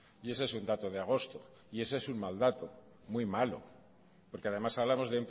y ese es un dato de agosto y ese es un mal dato muy malo porque además hablamos